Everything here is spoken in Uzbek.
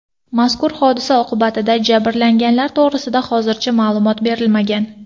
Mazkur hodisa oqibatida jabrlanganlar to‘g‘risida hozircha ma’lumot berilmagan.